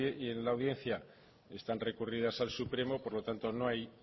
y en la audiencia están recurridas al supremo por lo tanto